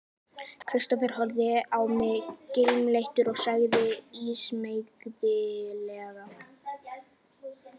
Kristófer horfði á mig kímileitur og sagði ísmeygilega